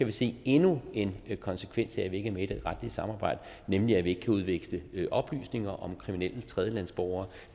vi se endnu en konsekvens af at vi ikke er med i det retlige samarbejde nemlig at vi ikke kan udveksle oplysninger om kriminelle tredjelandsborgere